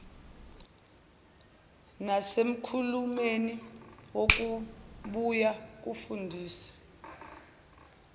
nasekhulumeni kuzobuye kufundise